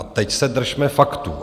A teď se držme faktů.